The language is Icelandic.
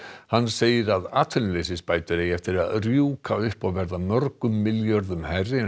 hann segir að atvinnuleysisbætur eigi eftir að rjúka upp og verða mörgum milljörðum hærri en